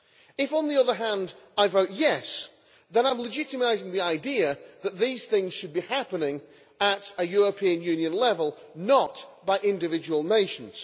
If, on the other hand, I vote yes', then I am legitimising the idea that these things should be happening at a European Union level, not by individual nations.